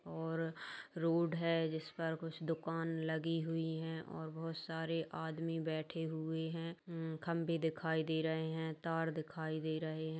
और रोड़ है जिसपर कुछ दुकान लगी हुई हैं और बहुत सारे आदमी बैठे हुए हैं | उम खंबे दिखाई दे रहे हैं तार दिखाई दे रहे हैं।